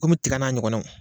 Komi bɛ tiga n'a ɲɔgɔnnaw